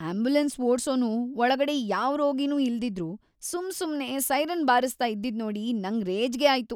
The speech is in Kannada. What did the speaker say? ಆಂಬ್ಯುಲೆನ್ಸ್ ಓಡ್ಸೋನು ಒಳಗಡೆ ಯಾವ್‌ ರೋಗಿನೂ ಇಲ್ದಿದ್ರೂ ಸುಮ್ಸುಮ್ನೇ ಸೈರನ್‌ ಬಾರಿಸ್ತಾ ಇದ್ದಿದ್ನೋಡಿ ನಂಗ್ ರೇಜ್ಗೆ ಆಯ್ತು.